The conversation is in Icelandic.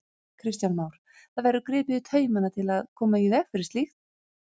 Kristján Már: Það verður gripið í taumana til að koma í veg fyrir slíkt?